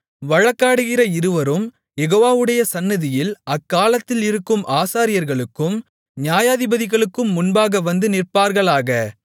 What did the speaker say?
வழக்காடுகிற இருவரும் யெகோவாவுடைய சந்நிதியில் அக்காலத்தில் இருக்கும் ஆசாரியர்களுக்கும் நியாயாதிபதிகளுக்கும் முன்பாக வந்து நிற்பார்களாக